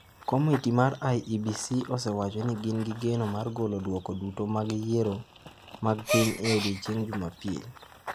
Komiti mar IEBC osewacho ni gin gi geno mar golo duoko duto mag yiero mag piny e odiechieng’ Jumapil.